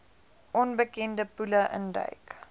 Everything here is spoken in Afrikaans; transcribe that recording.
onbekende poele induik